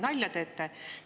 Nalja teete?